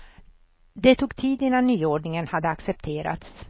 Det tog tid innan nyordningen hade accepterats.